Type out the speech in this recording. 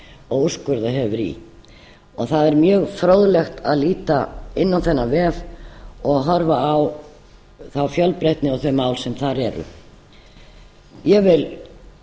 og úrskurðað hefur verið í það er mjög fróðlegt að líta inn á þennan vef og horfa á þá fjölbreytni og þau mál sem þar eru ég vil